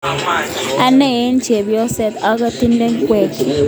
Ane a chepyoset ak atindoi ngweek.